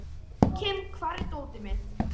Jóakim, hvar er dótið mitt?